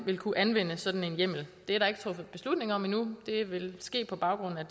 vil kunne anvende sådan en hjemmel det er der ikke truffet beslutning om endnu det vil ske på baggrund af